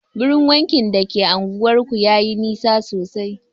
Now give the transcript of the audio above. Wurin wankin da ke anguwar ku yayi nisa sosai